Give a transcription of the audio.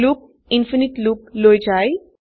loop ইনফিনিতে loop লৈ যায়